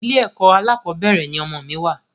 Ilé ẹkọ alákọ̀bẹ́rẹ̀ ni ọmọ mi wa